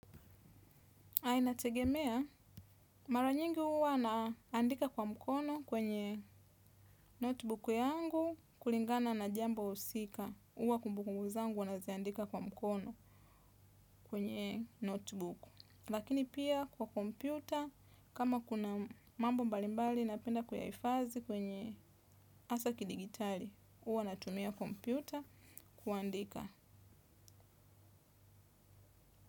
Inategemea, mara nyingi huwa naandika kwa mkono kwenye notebook yangu kulingana na jambo husika, huwa kumbukumbu zangu huwa naziandika kwa mkono kwenye notebook. Lakini pia kwa kompyuta, kama kuna mambo mbalimbali napenda kuyahifadhi kwenye hasa kidigitali, huwa natumia kompyuta kuandika.